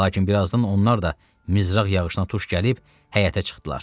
Lakin birazdan onlar da mizraq yağışına tuş gəlib həyətə çıxdılar.